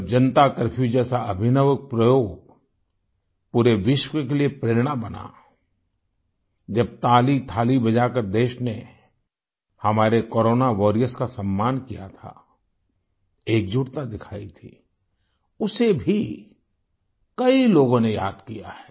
जब जनता कर्फ्यू जैसा अभिनव प्रयोग पूरे विश्व के लिए प्रेरणा बना जब तालीथाली बजाकर देश ने हमारे कोरोना वारियर्स का सम्मान किया था एकजुटता दिखाई थी उसे भी कई लोगों ने याद किया है